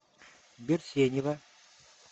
берсенева